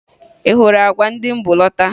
Ị hụrụ àgwà ndị m bu lọta?